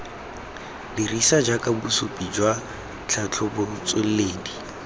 dirisiwa jaaka bosupi jwa tlhatlhobotsweledi